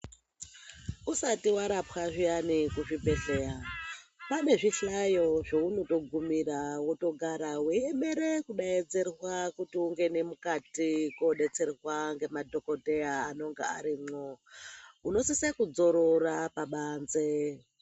Usati varapwa zviyani kuzvibhedhleya pane zvihlayo zvounotogumira otogara veiemere kubetserwa. Kuti ungene mukati kobetserwa ngemadhogodheya anonga arimwo, unosise kudzorora pabanze.